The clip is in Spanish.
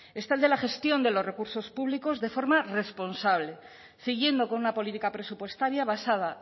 está el de la gestión de los recursos públicos de forma responsable siguiendo con una política presupuestaria basada